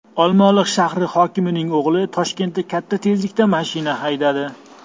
Olmaliq shahri hokimining o‘g‘li Toshkentda katta tezlikda mashina haydadi.